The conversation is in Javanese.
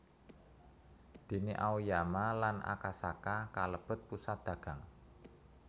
Déné Aoyama lan Akasaka kalebet pusat dagang